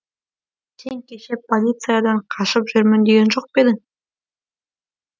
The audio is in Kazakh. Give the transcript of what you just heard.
сен кеше полициядан қашып жүрмін деген жоқ па едің